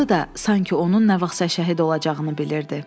Adı da sanki onun nə vaxtsa şəhid olacağını bilirdi.